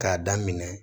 K'a daminɛ